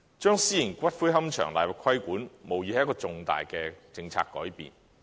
將私營龕場納入規管，無疑是一個重大的政策改變。